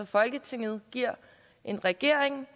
folketinget giver en regering